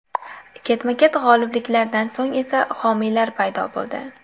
Ketma-ket g‘olibliklardan so‘ng esa homiylar paydo bo‘ldi.